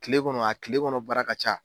Kile kɔnɔ a kile kɔnɔ baara ka ca.